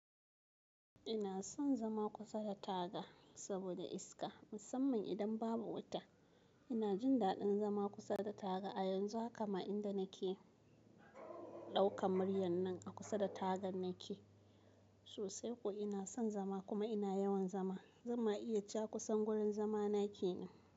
Ina son zama kusa da taga saboda iska, musamman idan babu wuta. Ina jin daɗin zama kusa da taga. A yanzu haka ma inda nake ɗaukan muryar nan a kusa da tagar nake. Sosai kuwa ina son zama kuma ina yawan zama. Zan ma iya cewa kusan wurin zama nake nan.